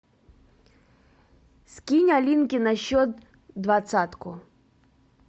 скинь алинке на счет двадцатку